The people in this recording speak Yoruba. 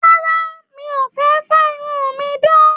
Rárá, mí o fẹ fa irun mí dan.